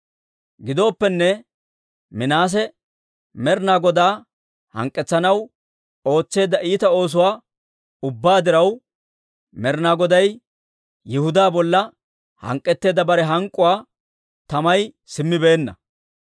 Gidooppenne Minaase Med'ina Godaa hank'k'etsanaw ootseedda iita oosuwaa ubbaa diraw, Med'ina Goday Yihudaa bolla hank'k'etteedda bare hank'k'uwaa tamay simmibeenna.